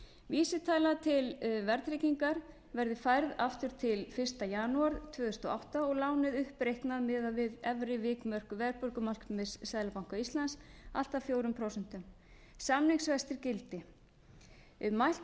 vísitala til verðtryggingar verði færð aftur til fyrsta janúar tvö þúsund og átta og lánið uppreiknað miðað við efri vikmörk verðbólgumarkmiðs seðlabanka íslands allt að fjögur prósent samningsvextir gildi mælt verði fyrir